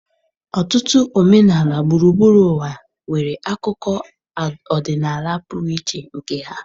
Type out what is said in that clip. Ọtụtụ omenala gburugburu ụwa nwere akụkọ ọdịnala pụrụ iche nke ha.